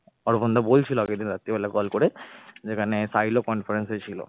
অর্পণ দা বলছিল আগের দিন রাত্রে বেলায় call করে যেখানে সাহিল ও conference এ ছিল